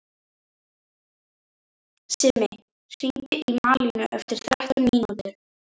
Simmi, hringdu í Malínu eftir þrettán mínútur.